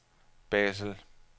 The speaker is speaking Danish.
Basel